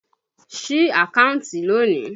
Sí àkántì lónìí!